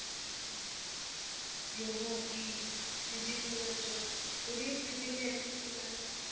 ਯੋਗਾ ਕੀ ਇਹ gym ਵਗ਼ੈਰਾ ਜਾਓ, ਥੋੜ੍ਹੀ physical activity ਕਰਾਂਗੇ ਨਾ।